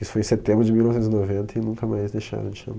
Isso foi em setembro de mil novecentos e noventa e nunca mais deixaram de chamar.